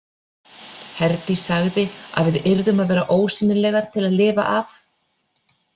Herdís sagði að við yrðum að vera ósýnilegar til að lifa af.